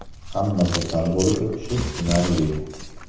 Hamma kasal bo‘lib o‘tishi tushunarli.